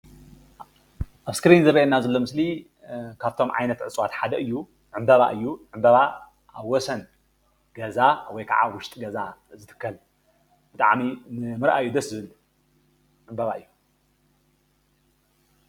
ኣብ እስክሪን ዝርኣየና ዘሎ ምስሊ ካብቶም ዓይነት እፅዋት ሓደ እዩ ዕምባባ እዩ፡፡ ዕምባባ ኣብ ወሰን ገዛ ወይ ካዓ ኣብ ዉሽጢ ገዛ ዝትከል ብጣዕሚ ንምርኣዩ ደስ ዝብል ዕምባባ እዩ፡፡